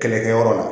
Kɛlɛkɛyɔrɔ la